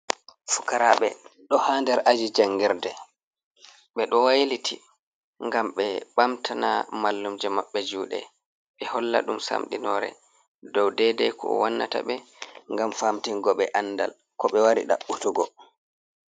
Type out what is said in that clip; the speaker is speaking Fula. Fukaraɓe ɗo ha nder aji jangirde, ɓe ɗo wailiti ngam ɓe ɓamtana mallumjo maɓɓe juuɗe, ɓe holla ɗum samɗinore dow dedei ko wannata ɓe, ngam famtingo ɓe andal ko ɓe waari ɗabɓutugo.